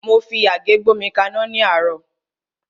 Mo fi àgé gbómi kaná ní àárọ́.